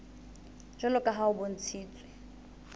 jwalo ka ha ho bontshitswe